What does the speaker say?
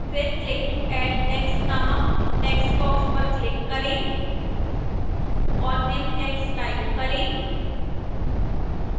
फिर click to add text नामक textbox पर click करें और निम्न text टाइप करेः